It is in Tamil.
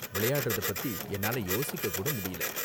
விளையாடுறத பத்தி என்னால யோசிக்க கூட முடியல.